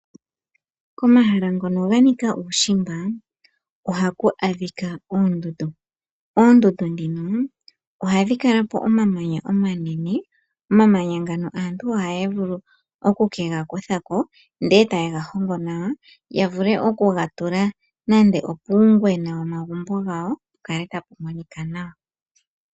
Komahala ngono ganika uushimba ohaku adhika oondundu, oondundu dhino ohadhi kala pomamanya omanene, omamanya ngano aantu ohaya vulu okukegakuthako ndele tayegahongo nawa yavule okukegatula nande opuungwena womagumbo gawo pukale tapumonika nawa.